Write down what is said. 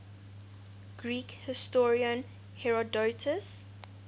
greek historian herodotus